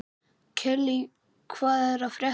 Kellý, hvað er að frétta?